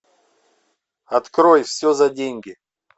открой все за деньги